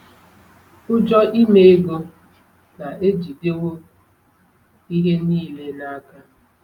Ụjọ ime ego na-ejidewo ihe niile n’aka.”